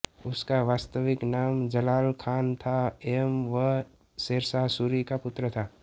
उसका वास्तविक नाम जलाल खान था एवं वह शेरशाह सूरी का पुत्र था